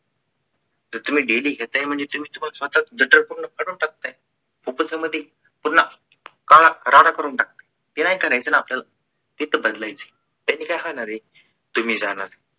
जर तुम्ही daily घेता म्हणजे तुम्ही स्वतः च जठार पूर्ण फाडून टाकताय. कुठून संमती पूर्णा राडा राडा करून टाकत आहे ते नाही करायचं ना आपल्याला ते तर बदलायचं त्यांनी काय होणार आहे तुम्ही जाणार